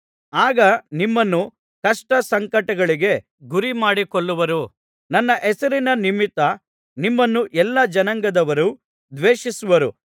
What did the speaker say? ಆಗ ನಿಮ್ಮನ್ನು ಕಷ್ಟಸಂಕಟಗಳಿಗೆ ಗುರಿಮಾಡಿ ಕೊಲ್ಲುವರು ನನ್ನ ಹೆಸರಿನ ನಿಮಿತ್ತ ನಿಮ್ಮನ್ನು ಎಲ್ಲಾ ಜನಾಂಗಗಳವರು ದ್ವೇಷಿಸುವರು